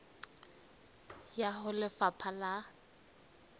e ya ho lefapha la